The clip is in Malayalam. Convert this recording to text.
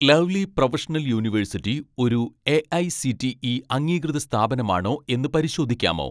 ലവ്‌ലി പ്രൊഫഷണൽ യൂണിവേഴ്സിറ്റി ഒരു എ.ഐ.സി.ടി.ഇ അംഗീകൃത സ്ഥാപനമാണോ എന്ന് പരിശോധിക്കാമോ